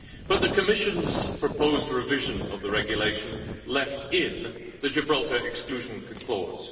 But the Commission's proposed revision of the regulation left in the Gibraltar exclusion clause.